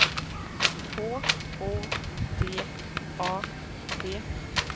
H O T A T